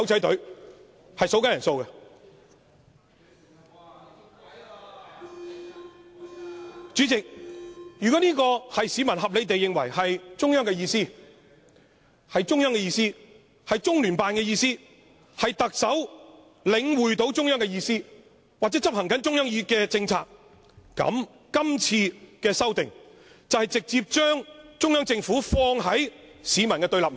代理主席，如果市民合理地認為這是中央、中聯辦的意思，是特首領會中央的意思或執行中央的政策，今次的修訂就是直接把中央政府放於市民的對立面。